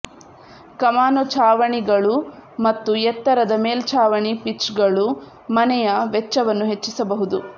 ಕಮಾನು ಛಾವಣಿಗಳು ಮತ್ತು ಎತ್ತರದ ಮೇಲ್ಛಾವಣಿ ಪಿಚ್ಗಳು ಮನೆಯ ವೆಚ್ಚವನ್ನು ಹೆಚ್ಚಿಸಬಹುದು